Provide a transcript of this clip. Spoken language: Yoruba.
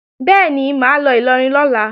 Bẹ́ẹ̀ni, mà á lọ Ìlọrin lọ́la